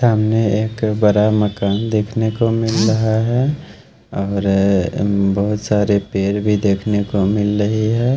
सामने एक बड़ा मकान देखने को मिल रहा है और बहुत सारे पेड़ भी देखने को मिल रही है।